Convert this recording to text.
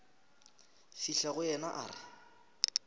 fihla go yena a re